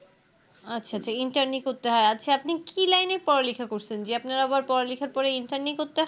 আচ্ছা আচ্ছা I nterni করতে হয় আচ্ছা আপনি কি Line এ পড়ালেখা করছেন যে আপনার আবার পড়ালেখার পরে Interni করতে হয়